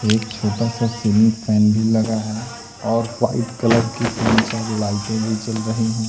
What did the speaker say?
एक छोटा सा सीलिंग फैन भी लगा है और व्हाइट कलर की तीन-चार लाइटे भी जल रही हैं।